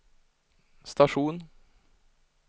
station